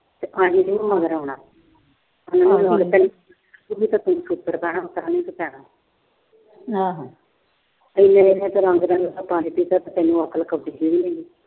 ਤਾਂ ਪੈਣਾ।